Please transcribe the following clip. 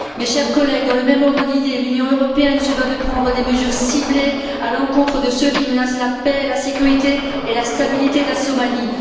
Chers collègues, dans le même ordre d'idée, l'Union européenne se doit de prendre des mesures ciblées à l'encontre de ceux qui menacent la paix, la sécurité et la stabilité de la Somalie.